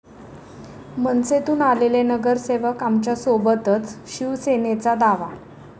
मनसेतून आलेले नगरसेवक आमच्यासोबतच, शिवसेनेचा दावा